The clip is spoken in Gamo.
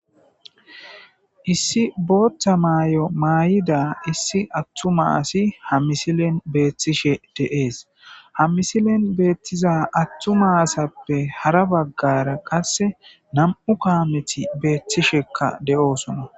Issi booththa maay'o maayida issi attuma asi ha misilen beethtishe deees ha misilen beettiza attu maasappe hara baggara qasse nam'u kaameti beethtishekka de:oosona